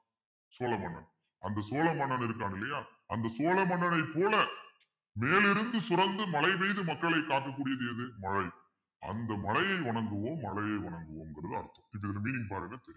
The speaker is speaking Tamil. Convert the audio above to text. சோழ மன்னன் அந்த சோழ மன்னன் இருக்கான் இல்லையா அந்த சோழ மன்னனைப் போல மேலிருந்து சுரந்து மழை பெய்து மக்களை காக்கக்கூடியது எது மழை அந்த மழையை வணங்குவோம் மழையை வணங்குவோம்ங்கிறது அர்த்தம் இதோட meaning பாருங்க தெரியும்